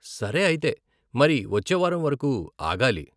సరే అయితే, మరి వచ్చే వారం వరకు ఆగాలి .